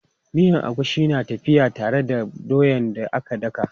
Miyan agushi na tafiya tare da doyan da aka daka.